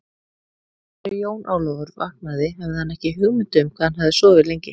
Þegar Jón Ólafur vaknaði hafði hann ekki hugmynd um hvað hann hafði sofið lengi.